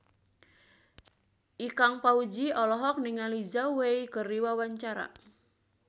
Ikang Fawzi olohok ningali Zhao Wei keur diwawancara